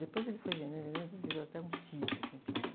Depois ele foi vendendo e vendendo, virou até um sítio, assim, pequeno.